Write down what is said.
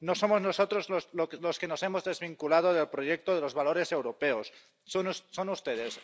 No somos nosotros los que nos hemos desvinculado del proyecto de los valores europeos son ustedes.